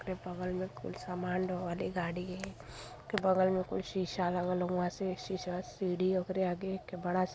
एक बगल में कोई समान ढोने वाली गाड़ी है। बगल में कुछ शीशा ललग हवुए। शीशा सीढ़ी ओकारी आगे एक बड़ा --